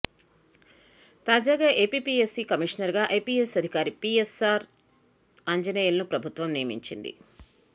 తాజాగా ఏపీపీఎస్సీ కమిషనర్ గా ఐపీఎస్ అధికారి పీయస్సార్ ఆంజనేయులను ప్రభుత్వం నియమించింది